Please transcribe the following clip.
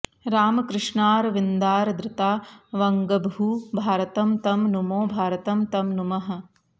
रामकृष्णारविन्दादृता वङ्गभूः भारतं तं नुमो भारतं तं नुमः